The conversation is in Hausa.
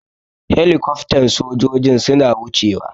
Helicoftan sojojin suna wuce wa.